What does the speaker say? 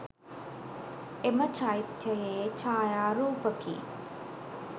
එම චෛත්‍ය යේ ඡායාරූපකි